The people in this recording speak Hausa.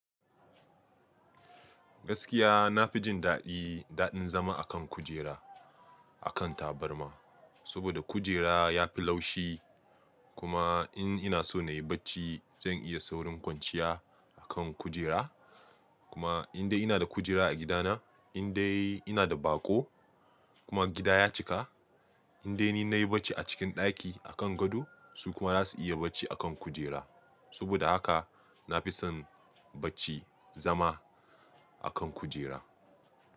Gaskiya na fi jin daɗi daɗin zama a kan kujera a kan tabarma, saboda kujera ya fi laushi. Kuma in ina so na yi bacci, zan iya saurin kwanciya a kan kujera. Kuma in dai ina da kujera a gidana, in dai ina da baƙo kuma gida ya cika. In dai ni na yi bacci a cikin ɗaki a kan gado, su kuma za su iya bacci a kan kujera. Saboda haka na fi son bacci zama a kan kujera.